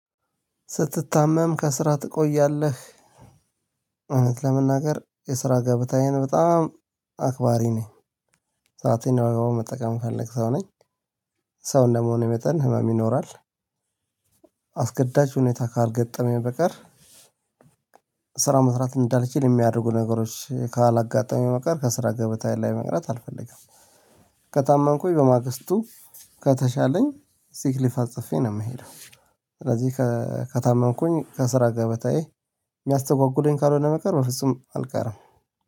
ስትታመም ከስራ ትቆያለህ? እውነት ለመናገር የስራ ገብታዬን በጣም አክባሪ ነኝ። ሰአቴን በአግባቡ መጠቀም ምፈለግ ሰው ነኝ። ሰው እንደ መሆኔ መጠን ህመም ይኖራል። አስገዳጅ ሁኔታ ካልገጠመኝ በቀር። ስራ መስራት እንዳልችል የሚያደርጉ ነገሮች ካላጋጠሙኝ በቀር ከስራ ገበታዬ ላይ መቅረት አልፈልግም። ከታመምኩኝ በማግስቱ ከተሻለኝ ሲክሊፋ አጽፌ ነው የምሄደው። ስለዚህ ከታመምኩኝ ከስራ ጋር በታዬ የሚያስተጓጉለኝ ካልሆነ በቀር በፍጹም አልቀርም።